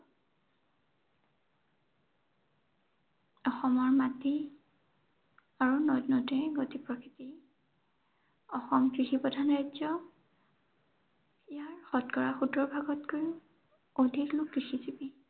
অসমৰ মাটি আৰু নদ-নদীৰ গতি প্ৰকৃতি। অসম কৃষিপ্ৰধান ৰাজ্য়। ইয়াৰ শতকৰা সোতৰ ভাগতকৈও, অধিক লোক কৃষিজিৱী।